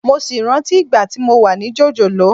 Mo sì rántí ìgbà tí mo wà ní jòjòló